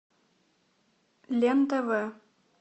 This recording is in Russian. лен тв